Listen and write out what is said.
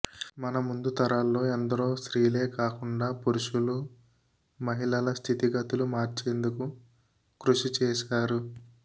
మన ముందు తరాల్లో ఎందరో స్త్రీలే కాకుండా పురుషులూ మహిళల స్థితి గతులు మార్చేందుకు కృషి చేశారు